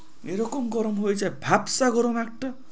এ রকম গরম হয়ে যায়, ভাবছা গরম একটা